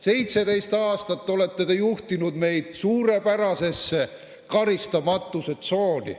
17 aastat olete te juhtinud meid suurepärasesse karistamatuse tsooni.